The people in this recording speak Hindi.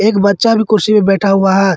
एक बच्चा भी कुर्सी पे बैठा हुआ है।